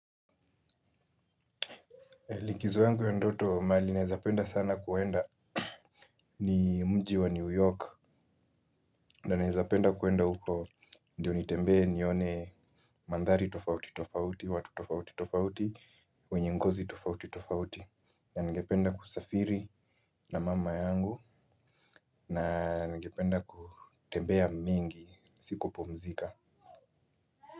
Likizo yangu ya ndoto mahali naeza penda sana kuenda ni mji wa New York na naeza penda kuenda huko ndio nitembee nione mandhari tofauti tofauti, watu tofauti tofauti, wenye ngozi tofauti tofauti na ningependa kusafiri na mama yangu na ningependa kutembea mingi si kupumzika.